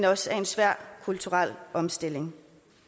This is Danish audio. også er en svær kulturel omstilling